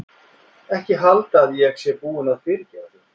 Ekki halda að ég sé búin að fyrirgefa þér.